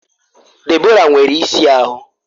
Deborah nwere isi ahụ